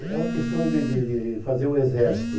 É uma questão de de de fazer o exército.